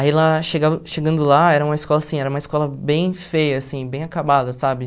Aí lá chegado chegando lá, era uma escola assim era uma escola bem feia assim, bem acabada, sabe?